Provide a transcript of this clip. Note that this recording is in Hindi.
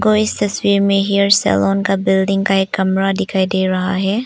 और इस तस्वीर में हेयर सैलून का बिल्डिंग का एक कमरा दिखाई दे रहा है।